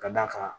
Ka d'a kan